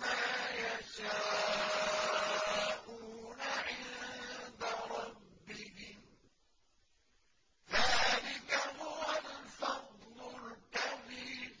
مَّا يَشَاءُونَ عِندَ رَبِّهِمْ ۚ ذَٰلِكَ هُوَ الْفَضْلُ الْكَبِيرُ